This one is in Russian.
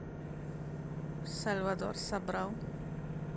сальвадор собрал